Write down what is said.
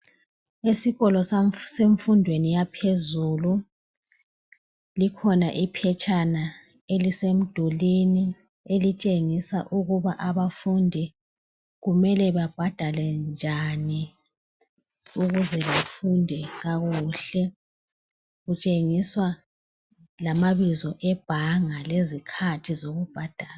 Esikolo semfundweni yaphezulu likhoma iphetshana elisemdulwini elitshengisa ukuba abafundi kumele babhadale njani ukuze bafunde kakuhle kuntshengiswa lamabizo ebhanga lezikhathi zokubhadala